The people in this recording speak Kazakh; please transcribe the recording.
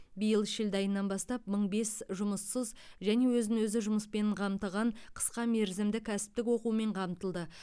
биыл шілде айынан бастап мың бес жұмыссыз және өзін өзі жұмыспен қамтыған қысқа мерзімді кәсіптік оқумен қамтылды